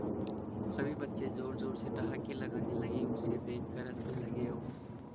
सभी बच्चे जोर जोर से ठहाके लगाने लगे उसे देख कर हंसने लगे और